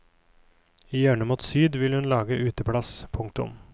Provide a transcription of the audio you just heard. I hjørnet mot syd vil hun lage uteplass. punktum